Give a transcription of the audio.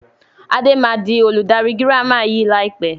Adé máa di olùdarí girama yìí lai pẹ̀